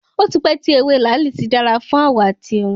Ó ti pẹ́ tí ewé làálì ti dára fún àwọ̀ àti irun.